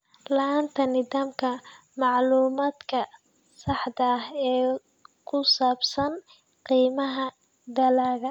La'aanta nidaamka macluumaadka saxda ah ee ku saabsan qiimaha dalagga.